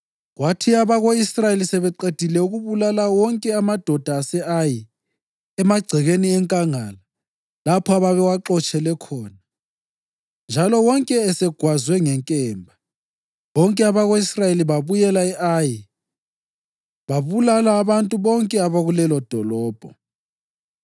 Kwathi abako-Israyeli sebeqedile ukubulala wonke amadoda ase-Ayi emagcekeni enkangala lapho ababewaxotshele khona, njalo wonke esegwazwe ngenkemba, bonke abako-Israyeli babuyela e-Ayi babulala abantu bonke abakulelo dolobho.